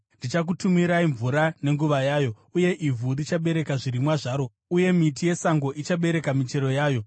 ndichakutumirai mvura nenguva yayo, uye ivhu richabereka zvirimwa zvaro uye miti yesango ichabereka michero yayo.